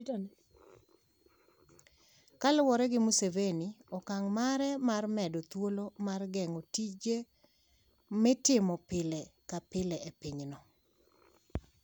Kaluwore gi Museveni, okang' mare mar medo thuolo mar geng'o tije mitimo pile ka pile e pinyno,